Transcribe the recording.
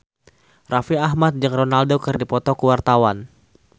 Raffi Ahmad jeung Ronaldo keur dipoto ku wartawan